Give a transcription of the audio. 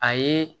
A ye